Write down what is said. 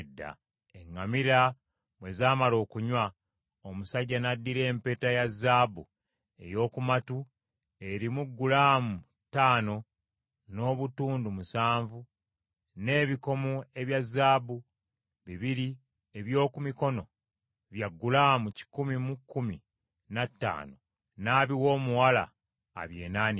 Eŋŋamira bwe zaamala okunywa, omusajja n’addira empeta ya zaabu ey’oku matu erimu gulaamu ttaano n’obutundu musanvu n’ebikomo ebya zaabu bibiri eby’oku mikono bya gulamu kikumi mu kkumi na ttaano n’abiwa omuwala abyenaanike.